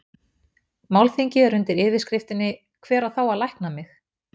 Málþingið er undir yfirskriftinni Hver á þá að lækna mig?